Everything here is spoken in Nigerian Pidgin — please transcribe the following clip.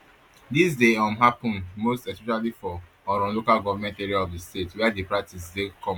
dis dey um happun most especially for oron local goment area of di state wia di practice dey common